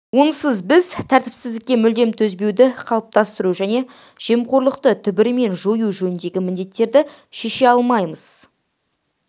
онсыз біз тәртіпсіздікке мүлдем төзбеуді қалыптастыру және жемқорлықты түбірімен жою жөніндегі міндеттерді шеше алмаймыз